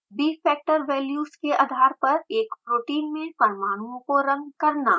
bfactor values के आधार पर एक प्रोटीन में परमाणुओं को रंग करना